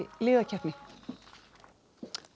liðakeppni